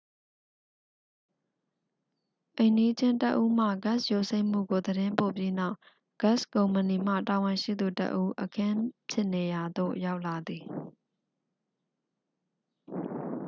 အိမ်နီးချင်းတစ်ဦးမှ ဂက်စ်ယိုစိမ့်မှုကို သတင်းပို့ပြီးနောက် ဂက်စ်ကုမ္ပဏီမှ တာဝန်ရှိသူတစ်ဦး အခင်းဖြစ်နေရာသို့ ရောက်လာသည်